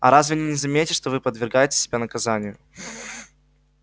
а разве они не заметят что вы подвергаете себя наказанию